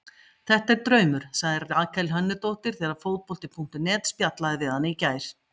Þetta er draumur, sagði Rakel Hönnudóttir þegar Fótbolti.net spjallaði við hana í gær.